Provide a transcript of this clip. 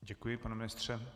Děkuji, pane ministře.